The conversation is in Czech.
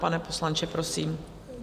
Pane poslanče, prosím.